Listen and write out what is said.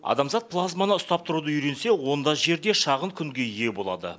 адамзат плазманы ұстап тұруды үйренсе онда жерде шағын күнге ие болады